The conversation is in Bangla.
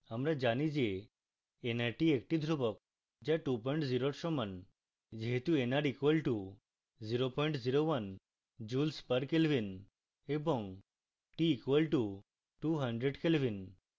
আমরা জানি যে nrt একটি ধ্রুবক যা 20 we সমান